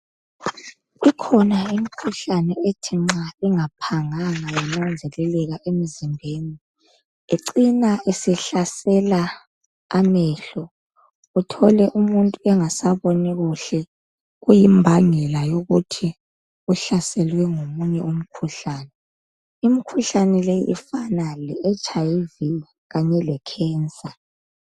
Ikhona imikhuhlane ethi nxa ingaphanganga yananzeleleka emzimbeni icina isihlasela amehlo uthole umuntu engasaboni kuhle kuyimbangela yokuthi uhlaselwe ngomunye umkhuhlane. Imikhuhlane leyi ifana le HIV kanye le Cancer.